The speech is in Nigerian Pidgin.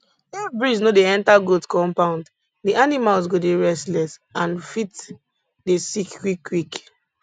if breeze no dey enter goat compound di animals go dey restless and fit dey sick quick quick